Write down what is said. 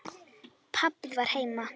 Pabbi var heima.